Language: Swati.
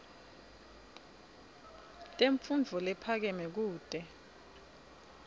temfundvo lephakeme kute